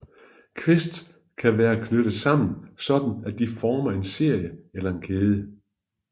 Quests kan være knyttet sammen sådan at de former en serie eller kæde